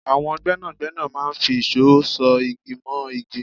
àwọn gbẹ́nàgbẹ́nà máa ń fi ìṣó ṣọ̀ igí mọ́ igí